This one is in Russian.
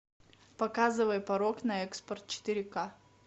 показывай порог на экспорт четыре ка